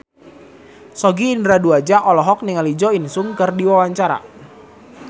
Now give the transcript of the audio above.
Sogi Indra Duaja olohok ningali Jo In Sung keur diwawancara